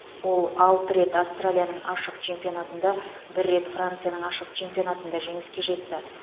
ол алты рет австралияның ашық чемпионатында бір рет францияның ашық чемпионатында жеңіске жетті